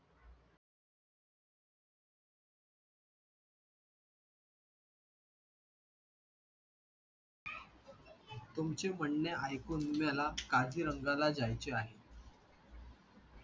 तुमचे म्हणणे ऐकून मला काझीरंगाला जायचे आहे